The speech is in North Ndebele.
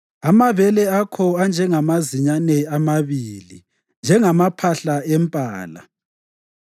Amabele akho anjengamazinyane amabili, njengamaphahla empala.